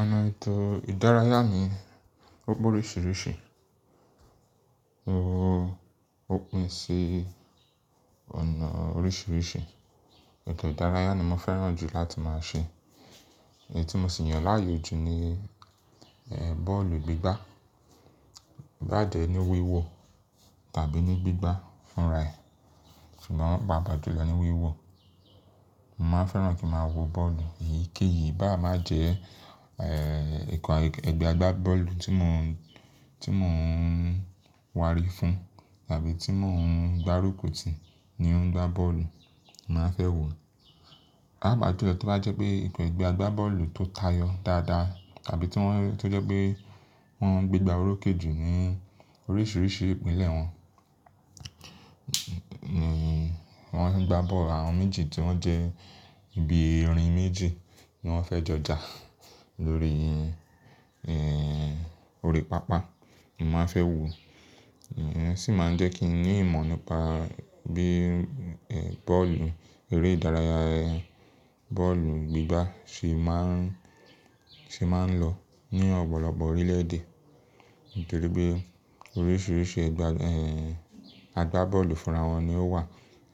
Ọ̀nà ètò ìdárayá mi ó pe oríṣiríṣi, ó pín sí ọ̀nà oríṣiríṣi. Ètò ìdárayá ni mo fẹ́ràn jù láti máa ṣe. Èyí tí mo sì mọ̀ láàyò jù ni bọ́ọ̀lù gbígbá, bá jẹ́ ní wíwò tàbí ní gbígbá fúnra ẹ̀, ṣùgbọ́n pàápàá jùlọ ni wíwò. Mo máa ń fẹ́ràn kí ń máa wo bọ́ọ̀lù èyíkéyìí bá máa jẹ́ ẹ̀, ẹ̀, ikọ̀ ẹgbẹ́ agbábọ́ọ̀lù tí mo ń, tí mo ń wárí fún tàbí tí mo ń gbárùkù tì í ni ó ń gbá bọ́ọ̀lù, màá fẹ́ wo. Pàápàá jùlọ tí ó bá jẹ́ pé ikọ̀ ẹgbẹ́ agbábọ́ọ̀lù tó tayọ dáadáa tàbí tí wọ́n, tí ó jẹ́ pé wọ́n ń gbé gbá orókè jù ní oríṣiríṣi ìpìlẹ̀ wọn, wọ́n ń gbá bọ́ọ̀lù àwọn méjì tí wọ́n jẹ́ bí erin méjì ni wọ́n fẹ́ jọjà lórí, orí pápá, màá fẹ́ wo. Osì máa ń jẹ́ kí n ní ìmọ̀ nípa bí, bọ́ọ̀lù eré ìdárayá, bọ́ọ̀lù gbígbá ṣe máa ń, ṣe máa ń lọ ní ọ̀pọ̀lọpọ̀ orílẹ̀-èdè nítorí pé oríṣiríṣi ẹgbẹ́, agbábọ́ọ̀lù fúnra wọn ni ó wà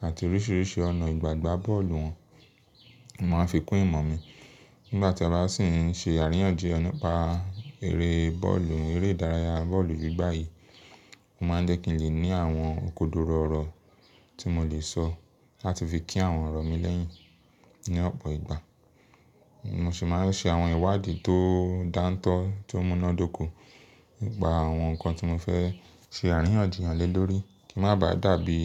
àti oríṣiríṣi ọ̀nà ìgbàgbá bọ́ọ̀lù wọn. Mo máa ń fi kún ìmọ̀ mi. Nígbà tí a bá sì ń ṣe àríyànjiyàn nípa eré bọ́ọ̀lù, eré ìdárayá bọ́ọ̀lù gbígbá yìí, ó máa ń jẹ́ kí n lè ní àwọn kòdóró ọ̀rọ̀ tí mo lè sọ láti fi kí àwọn ọ̀rọ̀ mi lẹ́yìn ní ọ̀pọ̀ ìgbà. Mo sì máa ń ṣe àwọn ìwádìí tó dántọ́ tó múnádóko nípa àwọn nǹkan tí mo fẹ́ ṣe àríyànjiyàn lé lórí kí ó máa bà dàbí,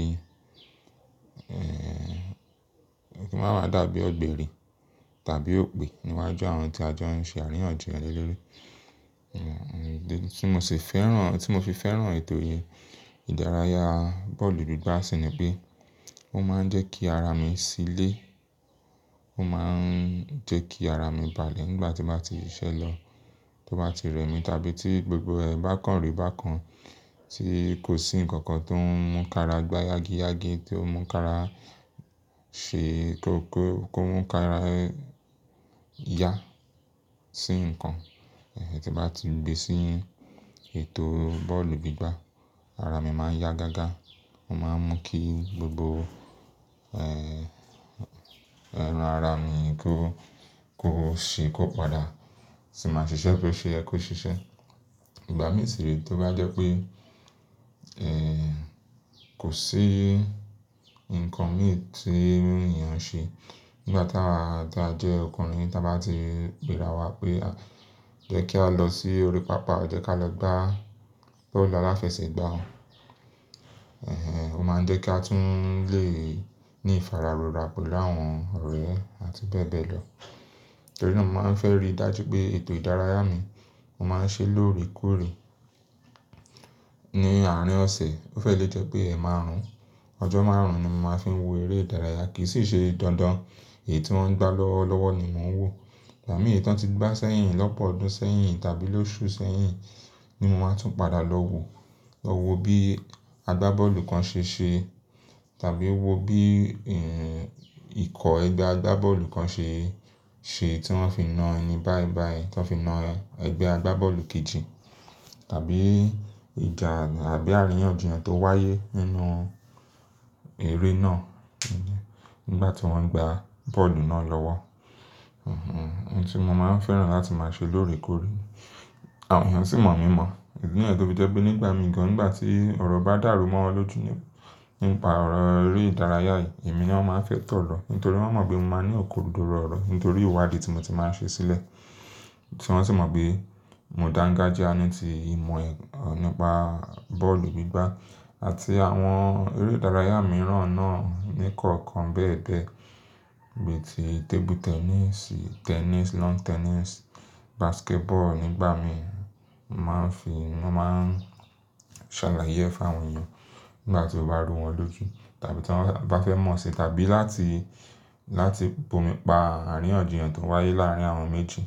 kí ó máa bà dàbí ọ̀gbẹ̀rì tàbí òpè níwájú àwọn tí a jọ ń ṣe àríyànjiyàn lé lórí. Tí mo sì fẹ́ràn, tí mo fi fẹ́ràn ètò yìí ìdárayá bọ́ọ̀lù gbígbá sì ni pé ó máa ń jẹ́ kí ara mi ṣílé, ó máa ń jẹ́ kí ara mi balẹ̀ nígbà tí mo bá ti ṣẹ ise lo, tí ó bá ti rẹ̀ mí tàbí tí gbogbo ẹ̀ bá kàn rè bá kan tí kò sí nǹkan kan tó ń múka ara gbá yági yági, tí ó múka ara ṣe kó, kó, kó múka ara ya sí nǹkan. Tí bá ti gbé sí ètò bọ́ọ̀lù gbígbá, ara mi máa ń yá gágá, ó máa ń mú kí gbogbo, ẹran ara mi kó, kó ṣe kó padà, sì máa ṣiṣẹ́ pé ṣe ẹ kó ṣiṣẹ́. Ìgbà mìíràn sì rí tí ó bá jẹ́ pé, kò sí nǹkan mìíràn tí ènìyàn ṣe nígbà tí a jẹ́ ọkùnrin tí a bá ti gbéra wa pé jẹ́ kí á lọ sí orí pápá jẹ́ ká lọ gbá bọ́ọ̀lù aláfẹsẹ̀gbá. Ó máa ń jẹ́ kí a tún lè ní ìfararora pẹ̀lú àwọn ọ̀rẹ́ àti bẹ́ẹ̀ bẹ́ẹ̀ lọ. Nítorínà mo máa ń fẹ́ rí dájú pé ètò ìdárayá mi, mo máa ń ṣe lórekore ní àárín ọ̀sẹ̀, ó fẹ́ lè jẹ́ pé ẹ̀ márùn-ún. Ọjọ́ márùn-ún ni mo máa fi wo eré ìdárayá kì í sì ṣe dandan èyí tí wọ́n gbá lọ́wọ́ lọ́wọ́ ni mò ń wò. Nigba mi èyí tí wọ́n ti gbá sẹ́yìn lọ́pọ̀ ọdún sẹ́yìn tàbí lóṣù sẹ́yìn ni mo máa tún padà lọ wo. Lọ wo bí agbábọ́ọ̀lù kan ṣe ṣe tàbí wo bí, ikọ̀ ẹgbẹ́ agbábọ́ọ̀lù kan ṣe, ṣe tí wọ́n fi na ẹni báì báì tí wọ́n fi na ẹgbẹ́ agbábọ́ọ̀lù kejì tàbí ìjà tàbí àríyànjiyàn tó wáyé nínú eré náà nígbà tí wọ́n ń gbá bọ́ọ̀lù náà lọ́wọ́. Ohun tí mo máa ń fẹ́ràn láti máa ṣe lórí kúrò. Àwọn ènìyàn sì mọ̀ mí mọ̀, idi niyen tó fi jẹ́ pé nígbà mìíràn nígbà tí ọ̀rọ̀ bá dàrú mọ́ wọn lójú nípa ọ̀rọ̀ eré ìdárayá yìí, èmi ni wọ́n máa ń fẹ́ tọ̀ lọ nítorí wọ́n mọ̀ pé mo máa ń ní okòdóró ọ̀rọ̀ nítorí ìwádìí tí mo ti máa ń ṣe sílẹ̀. Wọn sì mọ̀ pé mo dangajiya nití ìmọ̀ nípa bọ́ọ̀lù gbígbá àti àwọn eré ìdárayá mìíràn náà ní kọ̀ọ̀kan bẹ́ẹ̀ bẹ́ẹ̀. Bí i tí tébú tẹ́nìsì, tẹ́nìsì, lawn tẹ́nìsì, basketball nígbà míì mo máa ń fi, mo máa ń ṣàlàyé fún àwọn ènìyàn nígbà tí ó bá rú wọn lójú tàbí tí wọ́n bá fẹ́ mọ̀ ṣe tàbí láti, láti bu'mi pa àríyànjiyàn tó wáyé láàárín àwọn méjì.